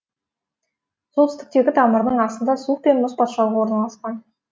солтүстіктегі тамырының астында суық пен мұз патшалығы орналасқан